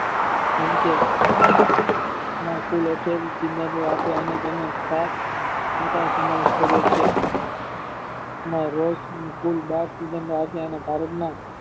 જેમકે ના કુલ અઠ્યાવીસ સિદ્ધાંતો આપ્યા અને તેનો સાત મોટા બસમાવેશ કરે છે ના રોજ કુલ બાર સિદ્ધાંતો આપ્યા અને ભારતમાં